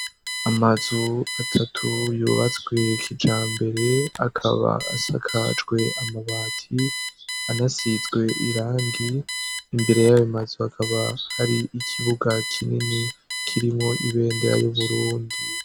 Amazu atatu yubatzswekija mbere akaba asakajwe amabati anasizwe irangi imbere yabo mazu akaba hari ikibuga kinini kirimwo ibendera y'uburundi.